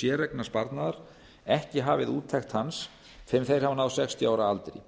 séreignarsparnaðar ekki hafið úttekt hans fyrr en að þeir hafa náð sextíu ára aldri